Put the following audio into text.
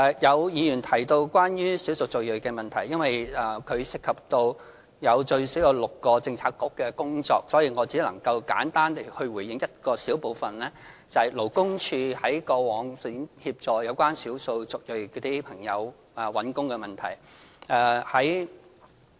有議員提到關於少數族裔的問題，由於這方面涉及最少6個政策局的工作，所以我只能簡單地回應一小部分，也就是勞工處在過往向少數族裔朋友在求職方面提供的協助。